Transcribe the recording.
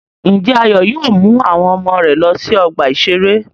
Ǹjẹ́ Ayọ̀ yóò mú àwọn ọmọ rẹ̀ lọ sí ọgbà-ìṣeré?